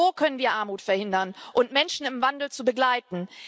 Nur so können wir Armut verhindern und Menschen im Wandel begleiten.